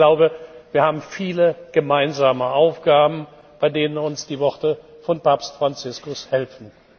Ich glaube, wir haben viele gemeinsame Aufgaben, bei denen uns die Worte von Papst Franziskus helfen.